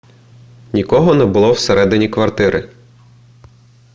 нікого не було всередині квартири